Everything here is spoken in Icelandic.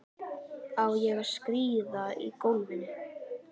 Á ég að skríða í gólfinu?